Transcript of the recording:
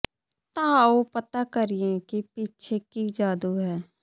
ਤਾਂ ਆਓ ਪਤਾ ਕਰੀਏ ਕਿ ਪਿੱਛੇ ਕੀ ਜਾਦੂ ਹੈ